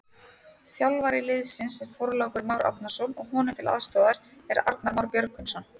Þjálfari liðsins er Þorlákur Már Árnason og honum til aðstoðar er Arnar Már Björgvinsson.